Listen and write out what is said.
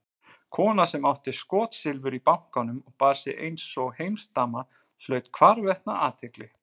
Kona sem átti skotsilfur í bankanum og bar sig einsog heimsdama hlaut hvarvetna athygli.